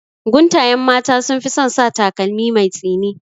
Guntayen mata sunfi son sa takalmi mai tsini